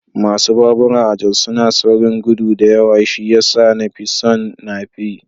Masu babura a Jos suna saurin gudu da yawa shi ya sa na fi son nape